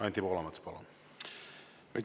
Anti Poolamets, palun!